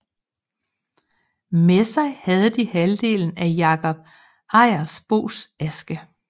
Med sig havde de halvdelen af Jakob Ejersbos aske